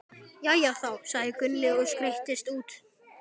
Jæja þá, sagði Gunni og skreiddist út.